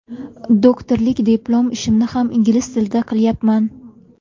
Doktorlik diplom ishimni ham ingliz tilida qilyapman.